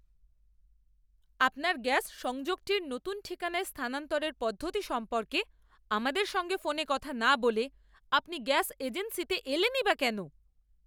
আপনার গ্যাস সংযোগটি নতুন ঠিকানায় স্থানান্তরের পদ্ধতি সম্পর্কে আমাদের সঙ্গে ফোনে কথা না বলে আপনি গ্যাস এজেন্সিতে এলেনই বা কেন?